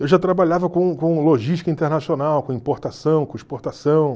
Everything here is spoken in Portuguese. Eu já trabalhava com com logística internacional, com importação, com exportação.